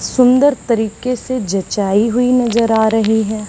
सुंदर तरीके से जचाई हुई नजर आ रही है।